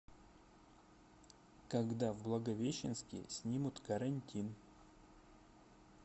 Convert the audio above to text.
когда в благовещенске снимут карантин